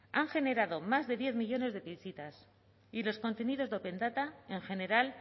han generado más de diez millónes de visitas y los contenidos de open data en general